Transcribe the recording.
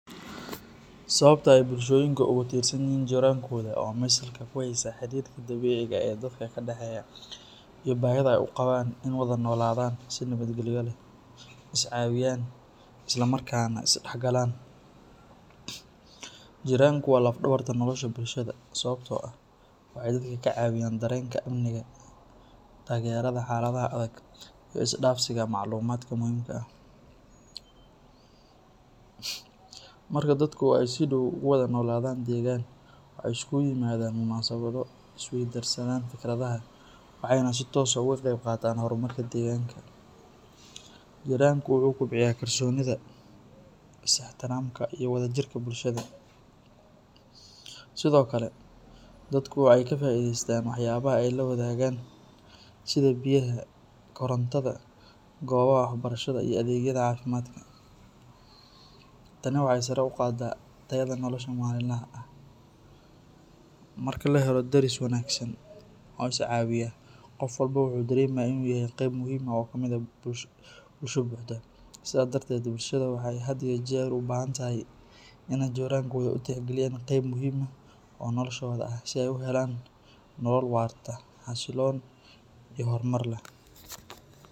Sababta ay bulshooyinka ugu tirsanyihiin jirankooda waa mid salka ku haysa xidhiidhka dabiiciga ah ee dadka ka dhexeeya iyo baahida ay u qabaan in ay wada noolaadaan si nabadgelyo leh, iscaawiyaan, isla markaana isdhexgalaan. Jiranku waa laf-dhabarta nolosha bulshada, sababtoo ah waxay dadka ka caawiyaan dareenka amniga, taageerada xaaladaha adag, iyo isdhaafsiga macluumaadka muhiimka ah. Marka dadku ay si dhow ugu wada noolaadaan deegaan, waxay isugu yimaadaan munaasabado, isweydaarsadaan fikradaha, waxayna si toos ah uga qayb qaataan horumarka deegaanka. Jiranku wuxuu kobciyaa kalsoonida, is-ixtiraamka, iyo wadajirka bulshada. Sidoo kale, dadku waxay ka faa’iideystaan waxyaabaha ay la wadaagaan sida biyaha, korontada, goobaha waxbarashada iyo adeegyada caafimaadka. Tani waxay sare u qaaddaa tayada nolosha maalinlaha ah. Marka la helo deris wanaagsan oo iscaawiya, qof walba wuxuu dareemayaa in uu yahay qayb muhiim ah oo ka mid ah bulsho buuxda. Sidaa darteed, bulshada waxay had iyo jeer u baahan tahay in ay jirankooda u tixgeliyaan qayb muhiim ah oo noloshooda ah si ay u helaan nolol waarta, xasiloon, iyo horumar leh.